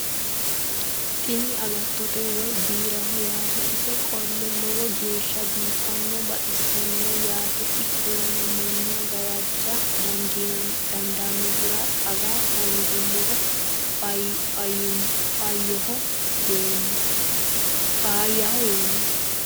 tini agatote woy biiraho yaate isi qole lowo geeshsha biifanno baxisannoho yaate ikkollana manna gawajja dandaanohura aga hoongoommero faayyaho yeemmo